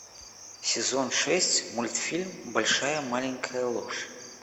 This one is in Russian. сезон шесть мультфильм большая маленькая ложь